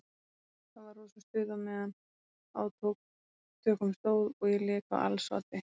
Það var rosa stuð á meðan á tökum stóð og ég lék á als oddi.